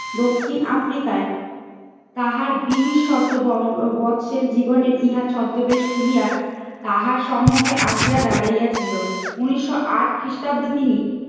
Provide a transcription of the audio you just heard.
দক্ষিণ আফ্রিকার তাহার বীর শত বৎসের জীবনের ইহা ছত্রবেশ খুলিয়া তাহার সম্মুখে আসিয়া দাঁড়িয়েছিল। উনিশশো আট খ্রিস্টাব্দে তিনি